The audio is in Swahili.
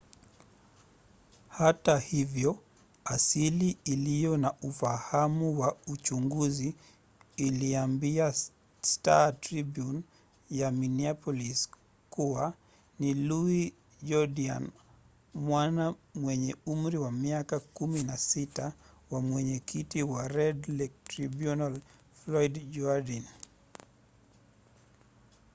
hata hivyo asili iliyo na ufahamu wa uchunguzi iliambia star-tribune ya minneapolis kuwa ni louis jourdian mwana mwenye umri wa miaka 16 wa mwenyekiti wa red lake tribunal floyd jourdain